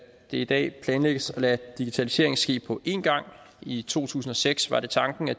det i dag planlægges at lade digitaliseringen ske på en gang i to tusind og seks var det tanken at